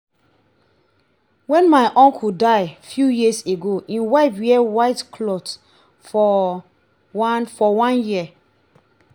wen my uncle die few years ago im wife wear white for one for one year